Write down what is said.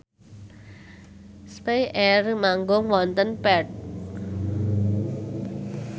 spyair manggung wonten Perth